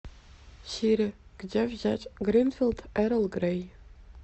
сири где взять гринфилд эрл грей